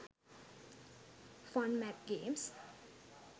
fun math games